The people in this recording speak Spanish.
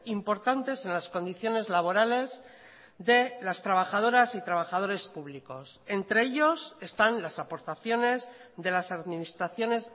importantes en las condiciones laborales de las trabajadoras y trabajadores públicos entre ellos están las aportaciones de las administraciones